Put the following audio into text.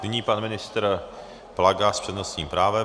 Nyní pan ministr Plaga s přednostním právem.